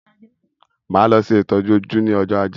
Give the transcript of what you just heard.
Máa lọ ṣe ìtọjú ojú ní ọjọ ajé